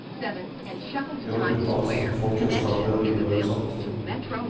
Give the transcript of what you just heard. Gjennom utdannelse fikk folk kunnskaper og en videre horisont.